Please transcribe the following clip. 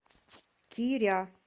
киря